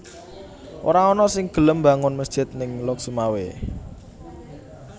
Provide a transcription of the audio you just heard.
Ora ana sing gelem mbangun mesjid ning Lhokseumawe